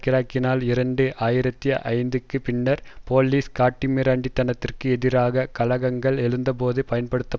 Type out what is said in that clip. இரண்டு ஆயிரத்தி ஐந்துக்கு பின்னர் போலீஸ் காட்டுமிராண்டித்தனத்திற்கு எதிராக கலகங்கள் எழுந்தபோது பயன்படுத்த பட்டன